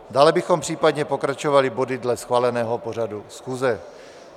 Dále bychom případně pokračovali body dle schváleného pořadu schůze.